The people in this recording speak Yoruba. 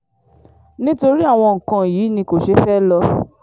nítorí àwọn nǹkan yìí ni kò ṣe fẹ́ẹ́ lò